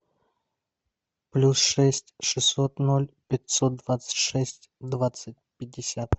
плюс шесть шестьсот ноль пятьсот двадцать шесть двадцать пятьдесят